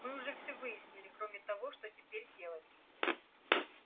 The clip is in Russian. мы уже все выяснили кроме того что теперь делать